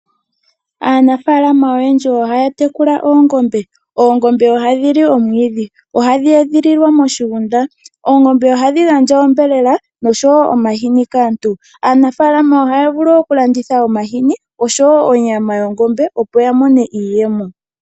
Aanafalama oyendji ohaya tekula oongombe, ohadhi edhililwa moshigunda nohadhi li omwiidhi. Ohadhi gandja ombelela oshowo omahini kaantu. Aanafalama ohaya vulu okulanditha onyama, opo ya mo mone iiyemo.